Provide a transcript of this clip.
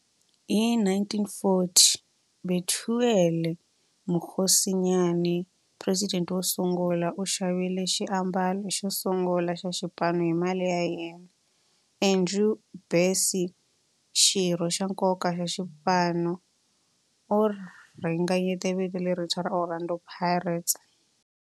Hi 1940, Bethuel Mokgosinyane, president wosungula, u xavile xiambalo xosungula xa xipano hi mali ya yena. Andrew Bassie, xirho xa nkoka xa xipano, u ringanyete vito lerintshwa ra 'Orlando Pirates'.